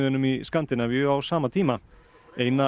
í Skandinavíu á sama tíma eina